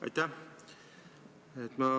Aitäh!